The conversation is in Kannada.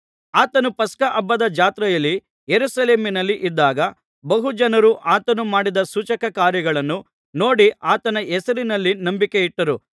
ಆತನು ಪಸ್ಕಹಬ್ಬದ ಜಾತ್ರೆಯಲ್ಲಿ ಯೆರೂಸಲೇಮಿನಲ್ಲಿ ಇದ್ದಾಗ ಬಹು ಜನರು ಆತನು ಮಾಡಿದ ಸೂಚಕಕಾರ್ಯಗಳನ್ನು ನೋಡಿ ಆತನ ಹೆಸರಿನಲ್ಲಿ ನಂಬಿಕೆ ಇಟ್ಟರು